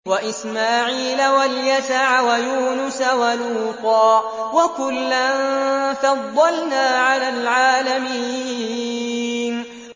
وَإِسْمَاعِيلَ وَالْيَسَعَ وَيُونُسَ وَلُوطًا ۚ وَكُلًّا فَضَّلْنَا عَلَى الْعَالَمِينَ